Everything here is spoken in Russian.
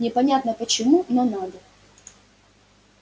непонятно почему но надо